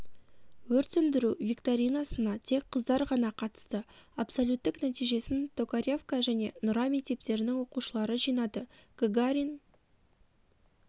өрт сөндіру викторинасына тек қыздар ғана қатысты абсолюттік нәтижесін токаревка және нұра мектептерінің оқушылары жинады гагарин